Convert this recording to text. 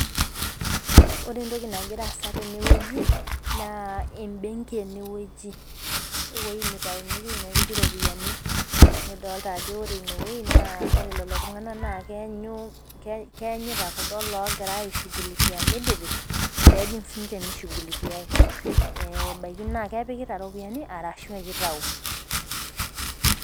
Ore enagira aasa tene wueji naa nitaumyeki nepiki iropiyiani. nidota ajo ore one wueji, ore lelo tunganak, naa keenyita kuldo loogirae aishugulikia midipi. pee ejing sii ninche mishuhulikae. sii ebaikii naa kepikita ropiyiani arashu kitau